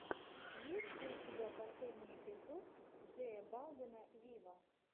есть ли у тебя последний эпизод джея балвина виво